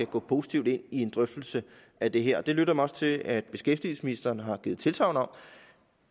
gå positivt ind i en drøftelse af det her det lytter jeg mig til at beskæftigelsesministeren har givet tilsagn om